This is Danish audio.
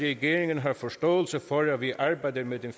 regeringen har forståelse for at vi arbejder med den